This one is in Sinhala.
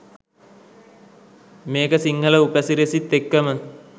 මේක සිංහල උපසිරැසිත් එක්කම